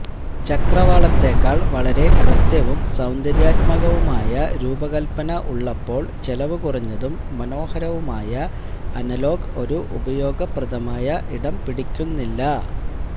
ചക്രവാളത്തെക്കാൾ വളരെ കൃത്യവും സൌന്ദര്യാത്മകവുമായ രൂപകൽപന ഉള്ളപ്പോൾ ചെലവുകുറഞ്ഞതും മനോഹരവുമായ അനലോഗ് ഒരു ഉപയോഗപ്രദമായ ഇടം പിടിക്കുന്നില്ല